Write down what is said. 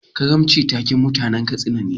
Karanci taken mutanan Katsina ne.